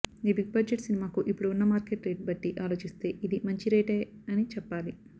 ఈ big budget సినిమాకు ఇప్పుడు ఉన్న మార్కెట్ రేట్ బట్టి ఆలోచిస్తే ఇది మంచి రేటే అని చెప్పాలి